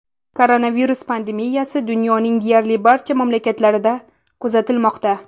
Koronavirus pandemiyasi dunyoning deyarli barcha mamlakatlarida kuzatilmoqda.